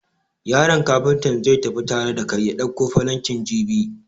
Yaron Kafuntan zai tafi tare da kai ya dauko falankin jibi.